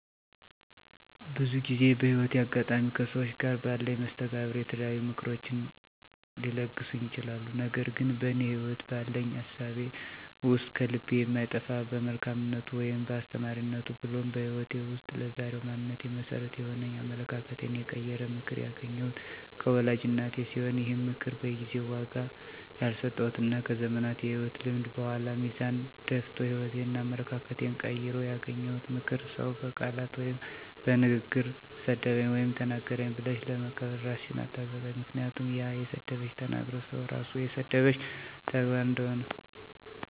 ብዙ ጊዜ በህይወቴ አጋጣሚ ከሠዎች ጋር ባለኝ መስተጋብር የተለያዩ ምክሮችን ሊለግሱኝ ይችላሉ። ነገር ግን በእኔ ህይወት ባለኝ እሳቤ ውስጥ ከልቤ የማይጠፋ በመልካምነቱ ወይም በአስተማሪነቱ ብሎም በህይወቴ ውስጥ ለዛሬው ማንነቴ መሠረት የሆነኝ አመለካከቴን የቀየረ ምክር ያገኘሁት ከወላጅ እናቴ ሲሆን ይህም ምክር በጊዜው ዋጋ ያልሰጠሁትና ከዘመናት የህይወት ልምድ በኃላ ሚዛን ደፍቶ ህይወቴንና አመለካከቴን ቀይሮ ያገኘሁት ምክር "ሰው በቃላት ወይም በንግግር ሰደበኝ ወይም ተናገረኝ ብለሽ ለበቀል እራስሽን አታዘጋጅ ምክንያቱም ያ የሰደበሽ / የተናገረሽ ሰው ራሱ የሰደበሽን / የተናገረሽን ሆኖ ታገኝዋለሽና" የሚል ሲሆን ይህንንም ከተወሰነ ጊዜ በኃላ በተግባር ሆኖ አገኘሁትና ከብዙ ጊዜአት በኃላ ባየሁት ተግባር የምክሩን ዋጋ በመረዳት ለቀጣይ ህይወቴ መርህ አድርጌው እኖራለሁ።